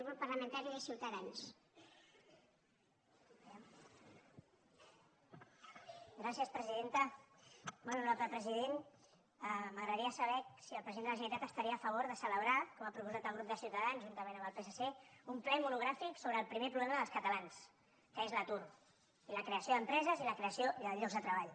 molt honorable president m’agradaria saber si el president de la generalitat estaria a favor de celebrar com ha proposat el grup de ciutadans juntament amb el psc un ple monogràfic sobre el primer problema dels catalans que és l’atur i la creació d’empreses i la creació de llocs de treball